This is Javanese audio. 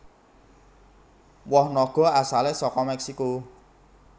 Woh naga asalé saka Mèksiko